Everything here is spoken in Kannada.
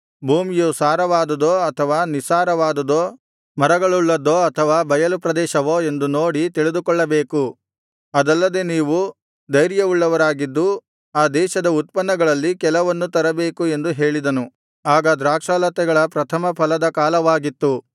ಭೂಮಿಯು ಸಾರವಾದುದೋ ಅಥವಾ ನಿಸ್ಸಾರವಾದುದೋ ಮರಗಳುಳ್ಳದ್ದೋ ಅಥವಾ ಬಯಲುಪ್ರದೇಶವೋ ಎಂದು ನೋಡಿ ತಿಳಿದುಕೊಳ್ಳಬೇಕು ಅದಲ್ಲದೆ ನೀವು ಧೈರ್ಯವುಳ್ಳವರಾಗಿದ್ದು ಆ ದೇಶದ ಉತ್ಪನ್ನಗಳಲ್ಲಿ ಕೆಲವನ್ನು ತರಬೇಕು ಎಂದು ಹೇಳಿದನು ಆಗ ದ್ರಾಕ್ಷಾಲತೆಗಳ ಪ್ರಥಮ ಫಲದ ಕಾಲವಾಗಿತ್ತು